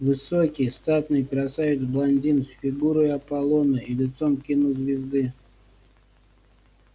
высокий статный красавец-блондин с фигурой аполлона и лицом кинозвезды